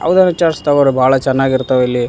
ಅವ್ರ ವಿಚಾರ್ಸ್ತವ ಬಹಳ ಚೆನ್ನಾಗ್ ಇರ್ತಾವಿಲ್ಲಿ.